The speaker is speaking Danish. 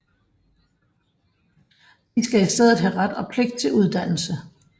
De skal i stedet have ret og pligt til uddannelse